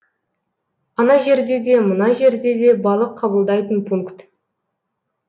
ана жерде де мына жерде де балық қабылдайтын пункт